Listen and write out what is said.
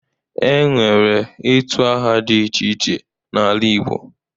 E nwere itu aha dị iche iche n'ala Igbo